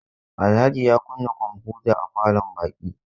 Alhaji ya kunna kwamfuta a falon baƙi.